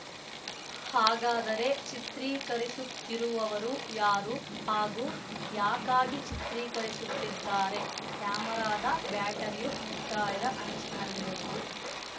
ಹಾಗಾದರೆ ಚಿತ್ರೀಕರಿಸುತ್ತಿರುವವರು ಯಾರು ಹಾಗೂ ಯಾಕಾಗಿ ಚಿತ್ರೀಕರಿಸುತ್ತಿದ್ದಾರೆ ಕ್ಯಾಮೆರಾದ ಬ್ಯಾಟರಿಯು ಮುಕ್ತಾಯದ ಅಂಚಿನಲ್ಲಿರುವುದು